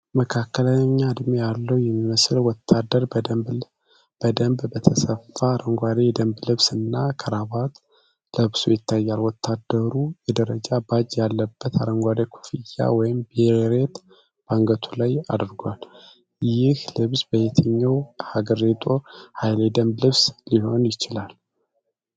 መካከለኛ ዕድሜ ያለው የሚመስል ወታደር በደንብ በተሰፋ አረንጓዴ የደንብ ልብስ እና ክራባት ለብሶ ይታያል። ወታደሩ የደረጃ ባጅ ያለበት አረንጓዴ ኮፍያ (ቤሬት) በአንገቱ ላይ አድርጓል። ይህ ልብስ የየትኛው ሀገር የጦር ኃይል የደንብ ልብስ ሊሆን ይችላል?